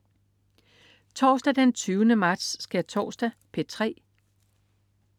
Torsdag den 20. marts. Skærtorsdag - P3: